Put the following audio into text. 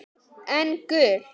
En gul?